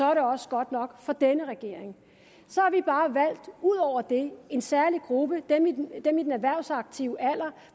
er det også godt nok for denne regering ud over det en særlig gruppe nemlig dem i den erhvervsaktive alder